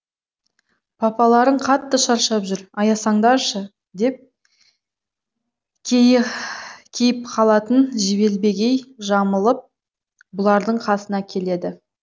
папаларың қатты шаршап жүр аясаңдаршы деп кейіп халатын желбегей жамылып бұлардың қасына келеді